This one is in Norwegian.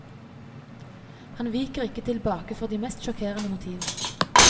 Han viker ikke tilbake for de mest sjokkerende motiver.